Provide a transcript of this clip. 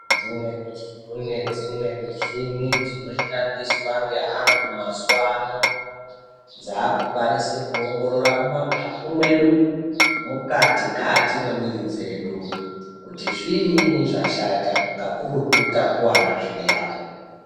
Kune dzimweni michini dzinoshandiswa ngeanthu mazuwa ano dzaakukwanise kuoongorora mumaphaphu mwedu mukati kati mwemwiri dzedu, kuti zviinyi zvashata kakurutu takuwara zviya.